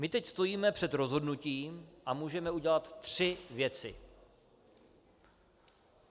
My teď stojíme před rozhodnutím a můžeme udělat tři věci.